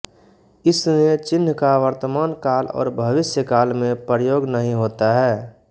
इस ने चिह्न का वर्तमानकाल और भविष्यकाल में प्रयोग नहीं होता है